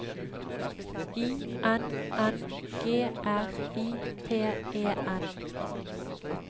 I N N G R I P E N